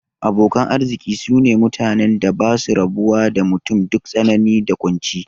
Abokan arziki sune mutanen da basu rabuwa da mutum duk tsanani da kunci